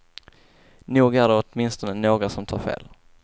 Nog är det åtminstone några som tar fel.